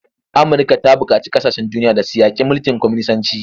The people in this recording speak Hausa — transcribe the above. Amurka ta buƙaci kasashen duniya da su yaƙi mulkin kwaminisanci.